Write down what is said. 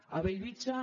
a bellvitge